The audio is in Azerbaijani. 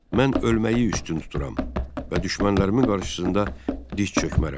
Mən ölməyi üstün tuturam və düşmənlərimin qarşısında diz çökmərəm.